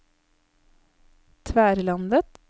Tverlandet